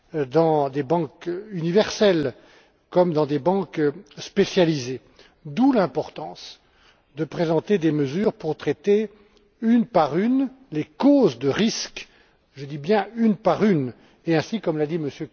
dans des banques universelles, comme dans des banques spécialisées, d'où l'importance de présenter des mesures pour traiter une par une les causes de risque je dis bien une par une et ainsi, comme l'a dit M.